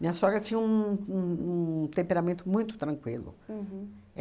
Minha sogra tinha um um um temperamento muito tranquilo. Uhum.